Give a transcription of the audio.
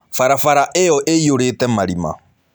Barabara ĩyo ĩiyũrĩte marima.